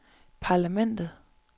parlamentet